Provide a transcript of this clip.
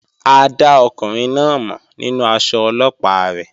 A dá ọkùnrin náà mọ̀ nínú aṣọ Ọlọ́pàá rẹ̀